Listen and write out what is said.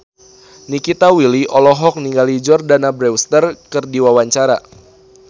Nikita Willy olohok ningali Jordana Brewster keur diwawancara